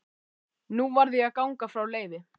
Nú varð ég að ganga frá Leifi.